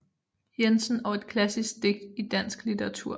Jensen og et klassisk digt i dansk litteratur